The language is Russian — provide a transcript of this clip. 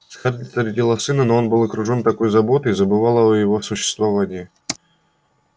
скарлетт родила сына но он был окружен такой заботой и забывала о его существовании